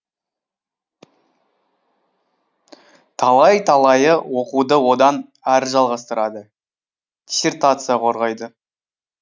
талай талайы оқуды одан әрі жалғастырады диссертация қорғайды